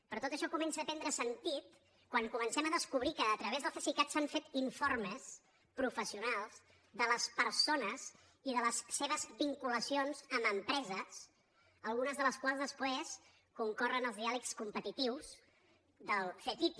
però tot això comença a prendre sentit quan comencem a descobrir que a través del cesicat s’han fet informes professionals de les persones i de les seves vinculacions amb empreses algunes de les quals després concorren als diàlegs competitius del ctti